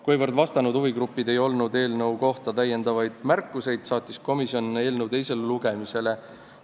Kuivõrd vastanutel eelnõu kohta märkusi ei olnud, saatis komisjon eelnõu teisele lugemisele.